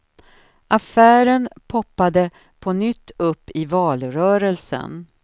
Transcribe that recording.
Affären poppade på nytt upp i valrörelsen.